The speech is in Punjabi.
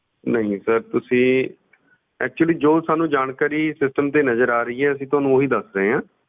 ਨਹੀਂ sir ਤੁਸੀਂ actually ਜੋ ਸਾਨੂੰ ਜਾਣਕਾਰੀ system ਤੇ ਨਜ਼ਰ ਆ ਰਹੀ ਹੈ ਅਸੀਂ ਤੁਹਾਨੂੰ ਉਹੀ ਦੱਸ ਰਹੇ ਹਾਂ।